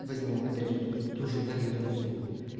возьму опять же тут туже дарью донцову